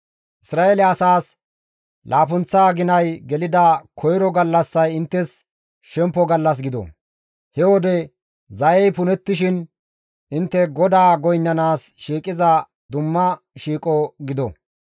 «Isra7eele asaas laappunththa aginay gelida koyro gallassay inttes shempo gallas gido; he wode zayey punettishin intte GODAA goynnanaas shiiqiza dumma shiiqo gido.